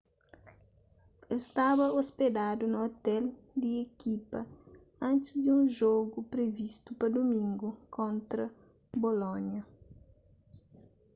el staba ôspedadu na ôtel di ekipa antis di un jogu privistu pa dumingu kontra bolonia